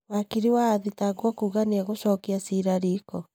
Wakiri wa athitangwo kuga nĩ egũcokia cira riko.